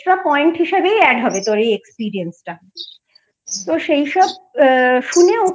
point হিসেবেই add হবে তোর এই Experience টা তো সেই সব শুনে